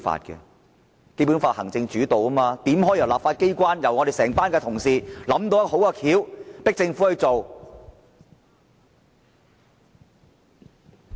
《基本法》是以行政主導，怎可以由立法機關、由我們整班同事想出好辦法迫政府做事？